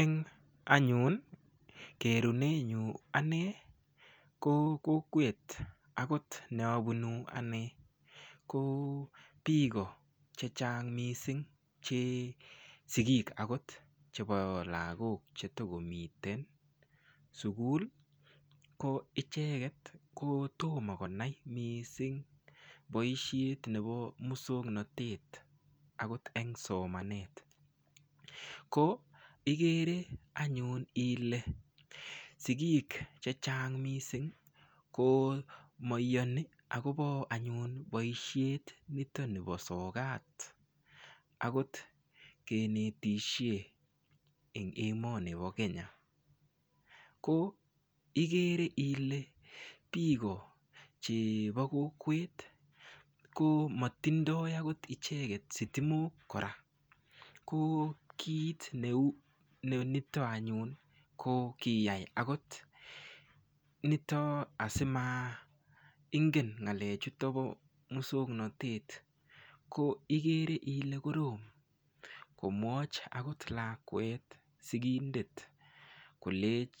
Eng anyun kerune nyu ane ko kokwet akot neabunu ane ko biko che chang mising che sikiik akot chebo lakok chetokomiten sukul ko icheket ko tomo konai mising boishet nebo muswongnotet akot eng somanet ko igere anyun ile sikiik che chang mising ko maiyoni akobo anyun boishet nito nebo sokat akot kenetishe eng emoni bo Kenya ko igere ile biko chebo kokwet ko matindoi akot icheget sitimok kora ko kiit nito anyun ko koyai akot nito asimaingen ngalechuto bo muswongnotet ko igere ile korom komwoch akot lakwet sikindet kolech